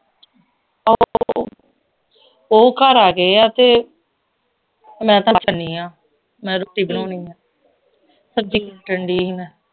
ਉਹ ਘਰ ਆ ਗਏ ਆ ਤੇ ਮੈਂ ਤਾਂ ਚੱਲੀ ਆ ਮੈਂ ਰੋਟੀ ਬਣਾਉਣੀ ਆ ਸਬਜ਼ੀ ਕੱਟਣ ਢਈ ਸੀ ਮੈਂ